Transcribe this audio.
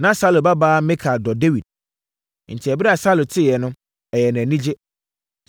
Na Saulo babaa Mikal dɔ Dawid, enti ɛberɛ a Saulo teeɛ no, ɛyɛɛ no anigye.